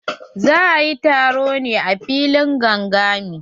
Za ayi taron ne a filin gangami?